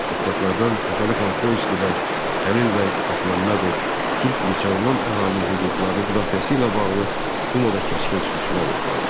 Deputatlardan Fətəli xan Xoyski və Xəlil bəy Xasməmmədov Türk müsəlman əhalinin hüquqlarının müdafiəsi ilə bağlı dumada kəskin çıxışlar etdilər.